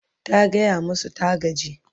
ta gaya masu ta gaji